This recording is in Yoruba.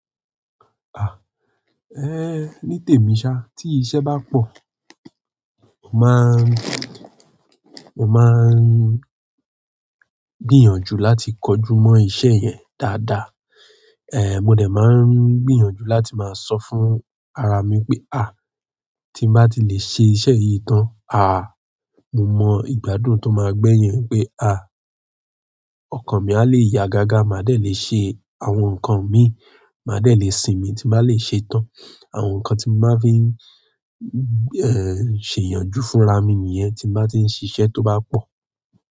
Ni tèmi sá ti iṣẹ́ bá pò, mo máa n, mo máa n gbìyànjú láti kojú mọ́ iṣẹ́ yẹn dáadáa. Mo dẹ̀ máa ń gbìyànjú láti máa sọ fún ara mi pé: ti n bá ti lè ṣe iṣẹ́ yìí tán, mo mọ ìgbádùn tó ma gbẹ́yìn è pé ọkàn mí á lè yá gágá, màá dẹ̀ lè ṣe àwọn nǹkan mi, màá dẹ̀ lè sinmi ti n bá lè ṣe tán. Àwọn ǹkan tí mo máa fí ń, ṣèyànjú fúnra mi nìyẹn tí mo bá tí ń ṣiṣẹ́ tó bá pò.